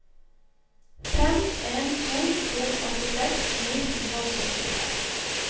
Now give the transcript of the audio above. fem en to to åttiseks ni hundre og syttitre